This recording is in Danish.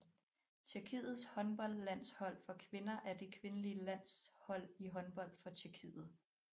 Tjekkiets håndboldlandshold for kvinder er det kvindelige landshold i håndbold for Tjekkiet